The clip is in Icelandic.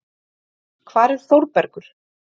Hvar er Þórbergur?